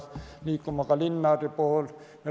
Nad pidid liikuma ka linnade vahel.